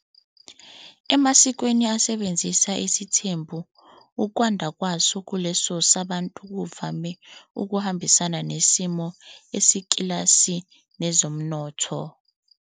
Emasikweni asebenzisa isithembu, ukwanda kwaso kuleso sabantu kuvame ukuhambisana nesimo sekilasi nezomnotho.h